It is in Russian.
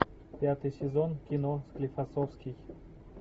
пятый сезон кино склифосовский